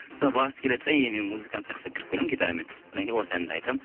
сол басы келеді де мен музыкант сияқты кіріп келемін гитарамен содан кейін осы әнді айтамын